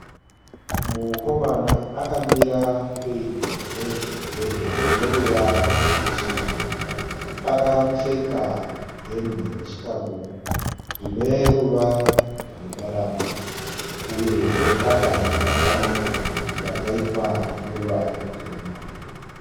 Mukomana akamira pedyo negedhe rino ruvara rweshizha. Akapfeka hembe nechikabudura zvine ruvara rwendarama uye zvine patani yakafanana yakaitwa noruvara rutema.